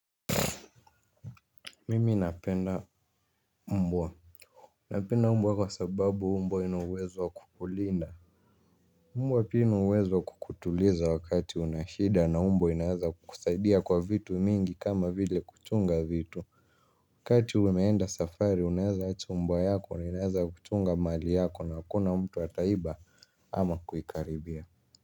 Mimi napenda mbwa. Napenda mbwa kwa sababu mbwa inuawezo wa kukulinda. Mbwa pini uwezo kukutuliza wakati unashida na mbwa inaweza kusaidia kwa vitu mingi kama vile kuchunga vitu. Wakati umeenda safari unaweza acha mbwa yako na inaweza kuchunga mali yako na wakuna mtu wataiba ama kuikaribia.